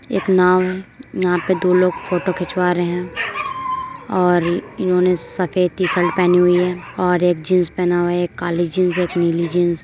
एक नाव है | नाव पे दो लोग फ़ोटो खिंचवा रहे हैं और इन्होंने सफ़ेद टी शर्ट पहनी हुई है और एक जींस पहना हुआ है एक काली जींस एक नीली जिंस |--